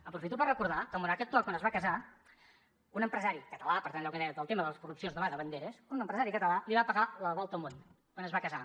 aprofito per recordar que al monarca actual quan es va casar un empresari català per tant allò que deia que el tema de les corrupcions no va de banderes li va pagar la volta al món quan es va casar